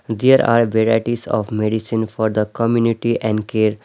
There are varieties of medicine for the community and care .